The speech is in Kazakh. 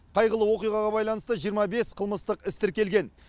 қайғылы оқиғаға байланысты жиырма бес қылмыстық іс тіркелген